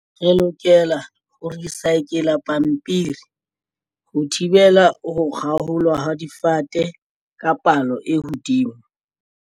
Re lokela ho recycle-la pampiri ho thibela ho kgaolwa ha difate ka palo e hodimo.